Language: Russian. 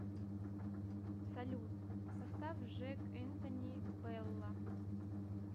салют поставь жэк энтони бэлла